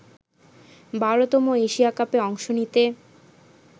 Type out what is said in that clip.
১২তম Asia কাপে অংশ নিতে